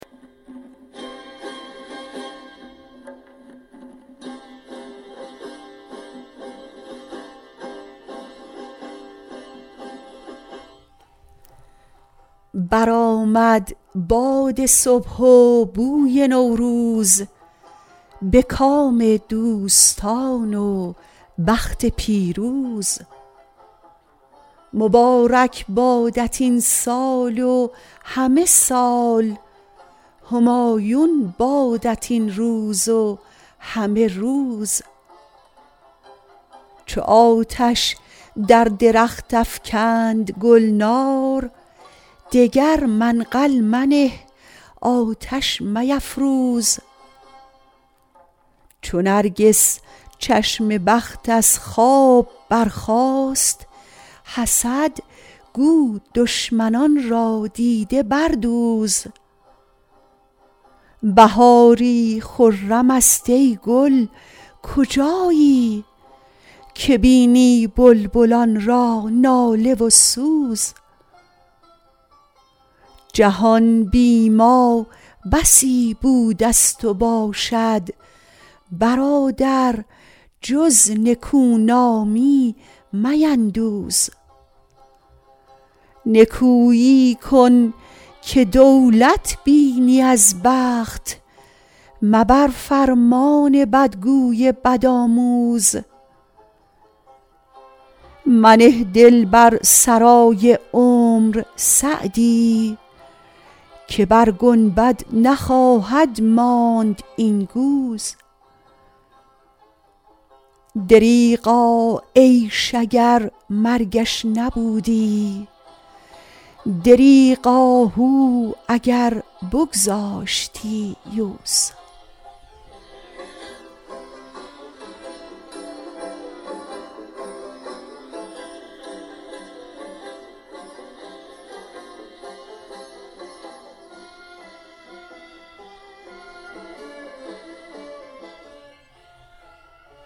برآمد باد صبح و بوی نوروز به کام دوستان و بخت پیروز مبارک بادت این سال و همه سال همایون بادت این روز و همه روز چو آتش در درخت افکند گلنار دگر منقل منه آتش میفروز چو نرگس چشم بخت از خواب برخاست حسد گو دشمنان را دیده بردوز بهاری خرم است ای گل کجایی که بینی بلبلان را ناله و سوز جهان بی ما بسی بوده ست و باشد برادر جز نکونامی میندوز نکویی کن که دولت بینی از بخت مبر فرمان بدگوی بدآموز منه دل بر سرای عمر سعدی که بر گنبد نخواهد ماند این گوز دریغا عیش اگر مرگش نبودی دریغ آهو اگر بگذاشتی یوز